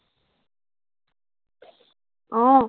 আহ